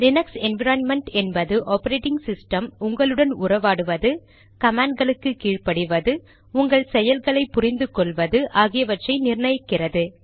Linux environment என்பது operating system உங்களுடன் உறவாடுவது கமாண்ட்களுக்கு கீழ் படிவது உங்கள் செய்கைகளை புரிந்து கொள்வது ஆகியவற்றை நிர்ணயிக்கிறது